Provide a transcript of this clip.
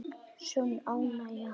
Sönn ánægja.